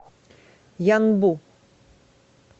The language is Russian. янбу